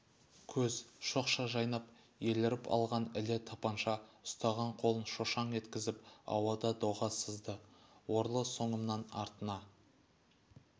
көз шоқша жайнап еліріп алған іле тапанша ұстаған қолын шошаң еткізіп ауада доға сызды орлы соңымнан артына